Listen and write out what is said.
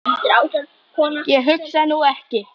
Ég hugsa nú ekki.